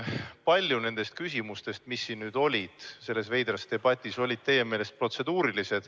Paljud nendest küsimustest selles veidras debatis, mis nüüd toimus, olid teie meelest protseduurilised.